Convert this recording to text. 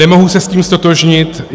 Nemohu se s tím ztotožnit.